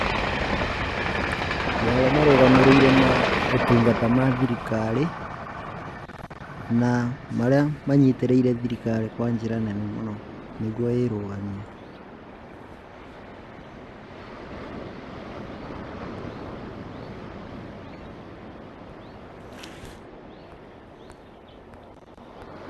Nĩarĩa marũgamĩrĩrire motungata ma thirikari na marĩa manyitĩrĩire thirikari kwa njĩra nene mũno nĩguo ĩrũgamie .